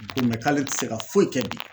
Ko k'ale tɛ se ka foyi kɛ bi